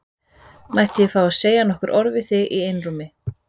Mætti ég fá að segja nokkur orð við þig í einrúmi?